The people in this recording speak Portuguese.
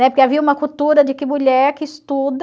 Né? Porque havia uma cultura de que mulher que estuda...